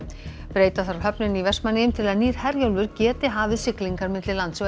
breyta þarf höfninni í Vestmannaeyjum til að nýr Herjólfur geti hafið siglingar milli lands og